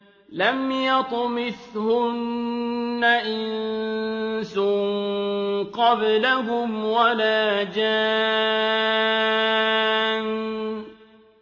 لَمْ يَطْمِثْهُنَّ إِنسٌ قَبْلَهُمْ وَلَا جَانٌّ